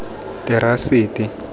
terasete